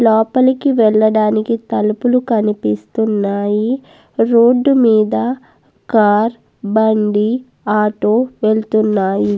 లోపలికి వెళ్లాడనికి తలుపులు కనిపిస్తున్నాయి రోడ్ మీద కార్ బండి ఆటో వెళ్తున్నాయి.